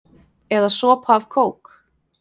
Eða sopa af kók?